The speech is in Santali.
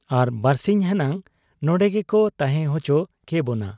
ᱟᱨ ᱵᱟᱹᱨᱥᱤᱧ ᱦᱮᱱᱟᱝ ᱱᱚᱱᱰᱮ ᱜᱮᱠᱚ ᱛᱟᱦᱮᱸ ᱚᱪᱚ ᱠᱮᱵᱚᱱᱟ ᱾